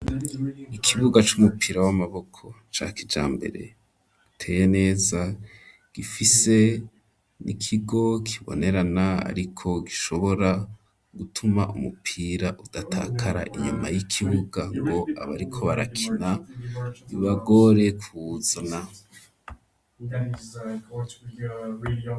Ikibuga c'umupira w'amaboko ,ca kija mbere, iteye neza, gifise 'ikigo kibonerana, ariko gishobora gutuma umupira udatakara inyuma y'ikibuga, ngo abariko barakina ubagore kuzuna.